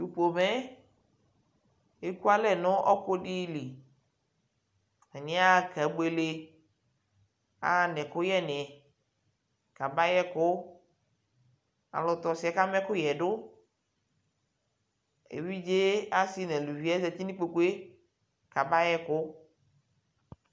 Tʊpomɛ ekualɛ ɲu ɔkʊdilɩ taɲia keɓuelɛ aɣa ɲɛkʊyɛɲɩ kabayɛkʊ alʊtɔ ɔsiɛ ɔkama ɛkʊƴɛdʊ ɛvidze asi ɲa aluvi azati nikpokue kabayɛkʊ